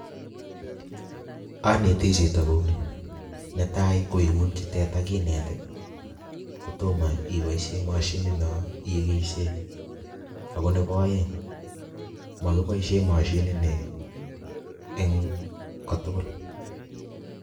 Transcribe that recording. Aneti chito kouni, netai koingutyii teta kinet I,kotomo iboishien mashinit noo ikeishien. Ago nebo oeng komokinoishien mishinit nii eng kotugul